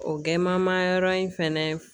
O gamaman yɔrɔ in fɛnɛ